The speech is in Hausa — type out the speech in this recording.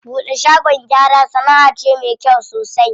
Buɗe shagon gyara sanaʼa ce me kyau sosai.